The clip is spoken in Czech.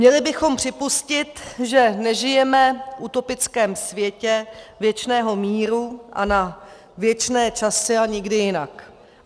Měli bychom připustit, že nežijeme v utopickém světě věčného míru a na věčné časy a nikdy jinak.